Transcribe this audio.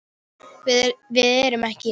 Við erum ekki.